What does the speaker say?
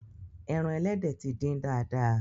Ẹran ẹlẹ́dẹ̀ ti dín dáadáa.